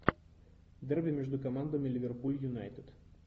дерби между командами ливерпуль юнайтед